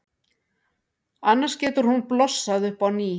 Annars getur hún blossað upp á ný.